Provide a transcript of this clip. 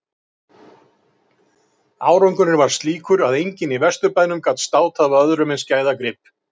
Síðan batt hún klútinn um hárið og stakk bókfellinu í barminn.